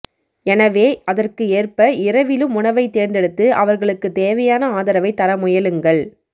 எனவே அதற்கு ஏற்ப இரவிலும் உணவை தேர்ந்தெடுத்து அவர்களுக்கு தேவையான ஆதரவை தர முயலுங்கள்